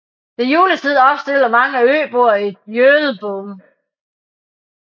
Ved juletiden opstiller mange øboer et jöölboom